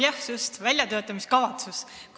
Jah, just, väljatöötamiskavatsus.